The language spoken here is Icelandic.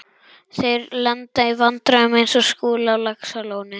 Þeir lenda í vandræðum eins og Skúli á Laxalóni.